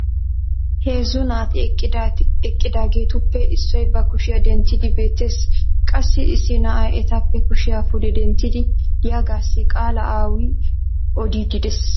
Heezzu naati eqqidaageetuppe issoy ba kushiyaa denttidi beetees. qassi issi na'ay etappe kushiya pude denttidi diyaagaassi qaalaa awu odiidi des.